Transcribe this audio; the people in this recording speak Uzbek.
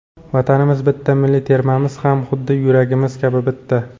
Vatanimiz bitta, milliy termamiz ham xuddi yuragimiz kabi bitta!